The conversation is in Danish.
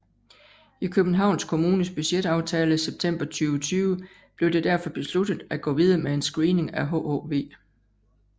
I Københavns Kommunes budgetaftale september 2020 blev det derfor besluttet at gå videre med en screening af hhv